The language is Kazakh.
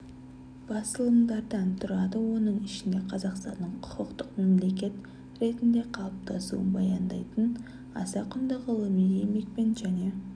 басылымдардан тұрады оның ішінде қазақстанның құқықтық мемлекет ретінде қалыптасуын баяндайтын аса құнды ғылыми еңбекпен және